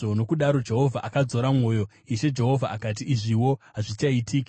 Nokudaro Jehovha akadzora mwoyo. Ishe Jehovha akati, “Izviwo hazvichaitiki.”